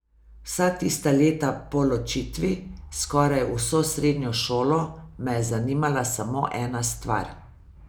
Vsa tista leta po ločitvi, skoraj vso srednjo šolo, me je zanimala samo ena stvar.